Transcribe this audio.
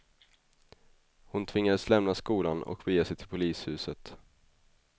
Hon tvingades lämna skolan och bege sig till polishuset.